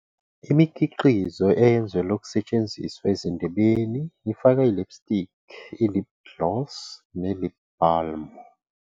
Imikhiqizo eyenzelwe ukusetshenziswa ezindebeni ifaka i-lipstick, i- lip gloss ne- lip balm.